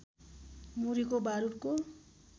मुरीको बारुदको